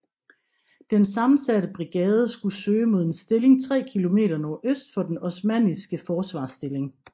Den sammensatte brigade skulle søge mod en stilling 3 km nordøst for den osmanniske forsvarsstilling